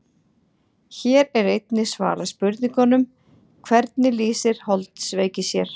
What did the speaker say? Hér er einnig svarað spurningunum: Hvernig lýsir holdsveiki sér?